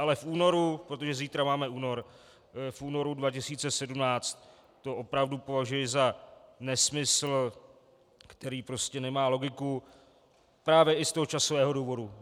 Ale v únoru, protože zítra máme únor, v únoru 2017 to opravdu považuji za nesmysl, který prostě nemá logiku právě i z toho časového důvodu.